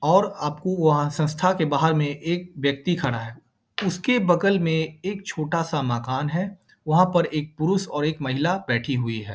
और आपको वहाँ संस्था के बाहर में एक व्यक्ति खड़ा है। उसके बगल में एक छोटा सा मकान है। वहाँ पर एक पुरुष और एक महिला बैठी हुई है।